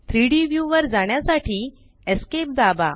3डी व्यू वर जाण्यासाठी esc दाबा